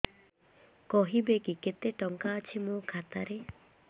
କହିବେକି କେତେ ଟଙ୍କା ଅଛି ମୋ ଖାତା ରେ